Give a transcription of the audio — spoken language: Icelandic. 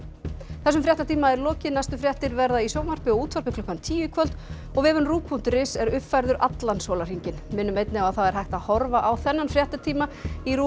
þessum fréttatíma er lokið næstu fréttir verða í sjónvarpi og útvarpi klukkan tíu í kvöld og vefurinn punktur is er uppfærður allan sólarhringinn við minnum einnig á að það er hægt að horfa á þennan fréttatíma í RÚV